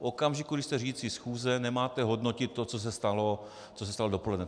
V okamžiku, kdy jste řídící schůze, nemáte hodnotit to, co se stalo dopoledne.